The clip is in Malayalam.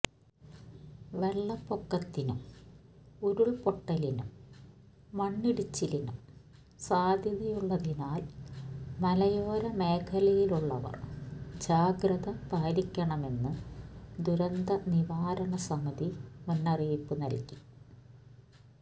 വെള്ളപ്പൊക്കത്തിനും ഉരുൾപൊട്ടലിനും മണ്ണിടിച്ചിലിനും സാധ്യതയുള്ളതിനാൽ മലയോര മേഖലയിലുള്ളവർ ജാഗ്രത പാലിക്കണമെന്ന് ദുരന്ത നിവാരണ സമിതി മുന്നിറിയിപ്പ് നൽകി